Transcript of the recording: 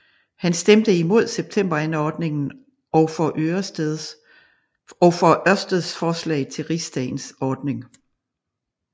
Han stemte imod Septemberanordningen og for Ørsteds forslag til Rigsdagens ordning